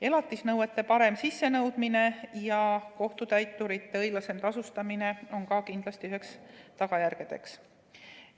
Elatisnõuete parem sissenõudmine ja kohtutäiturite õiglasem tasustamine on ka kindlasti üheks tagajärjeks.